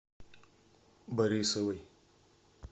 борисовой